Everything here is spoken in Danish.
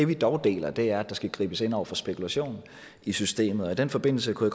vi dog deler er at der skal gribes ind over for spekulation i systemet og i den forbindelse kunne